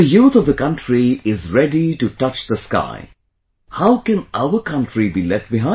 When the youth of the country is ready to touch the sky, how can our country be left behind